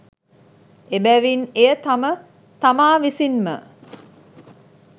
එබැවින් එය තම තමා විසින්ම